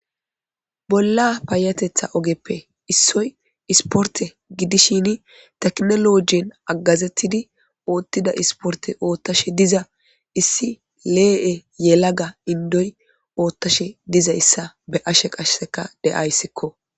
bolla payatetha ogeppe issoy isporte gidishini teknolojien aggazettidi oottida isporte oottashe diza issi lee7e yelaga indoy oottashe dizayssa be ashe qasheseka deayssikko